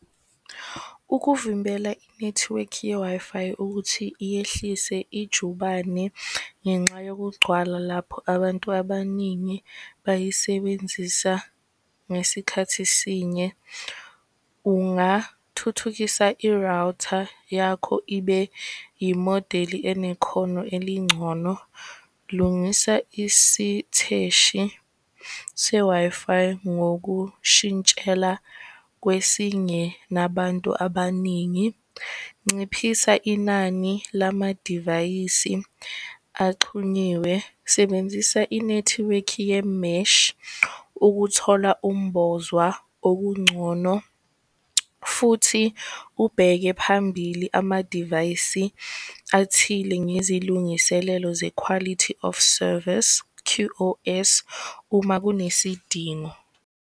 Ukuvimbela inethiwekhi ye-Wi-Fi ukuthi yehlise ijubane ngenxa yokugcwala lapho abantu abaningi bayisebenzisa ngesikhathi esinye, ungathuthukisa i-router yakho, ibe yimodeli enekhono elingcono. Lungisa isitheshi se-Wi-Fi ngokushintshela kwesinye nabantu abaningi. Nciphisa inani lamadivayisi axhunyiwe, sebenzisa inethiwekhi ye-mesh ukuthola ukumbozwa okungcono. Futhi ubheke phambili amadivayisi athile ngezilungiselelo ze-quality of service, Q_O_S, uma kunesidingo.